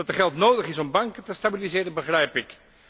Dat er geld nodig is om banken te stabiliseren, begrijp ik.